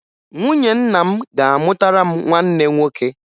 Nwunye nna m ga-amụtara m nwanne nwoke